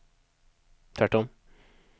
tvärtom